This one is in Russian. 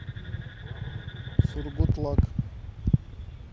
сургутлак